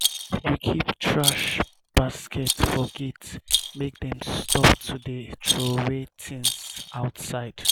everybodi for compound dey join hand clean outside di gate.